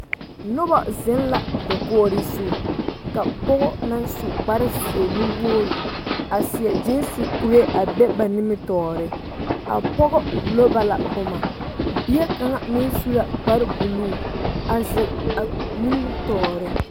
Noba zeŋ la dakori zu, ka pɔge na su kparre nuwogiri a seɛ gensi kure a be ba nimitɔre , a pɔgɔ wullo ba la boma, bie kaŋa meŋ su la kparre buulu a zeŋ a nimitɔre.